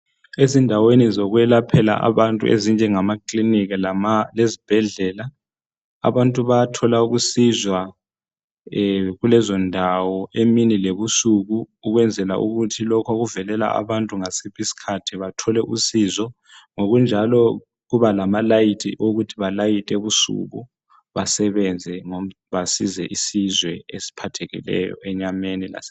ezindaweni zokwelaphela abantu ezinjengamakilinika lezibhedlela abantu bayathola ukusizwa kulezondawo emini lebusuku ukwenzela ukuthi lokhu pokuvelala abantu ngasiphi isikhathi bathole usizo ngokunjalo kuba lamalayithi okuthi balayithe ebusuku basebenze basize isizwe esiphathekileyo enyameni lemoyeni